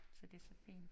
Så det så fint